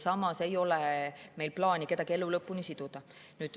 Samas ei ole meil plaani kedagi elu lõpuni siduda.